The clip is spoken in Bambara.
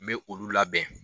N bɛ olu labɛn